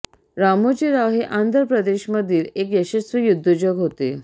रामोजी राव हे आंध्र प्रदेशमधील एक यशस्वी उद्योजक होते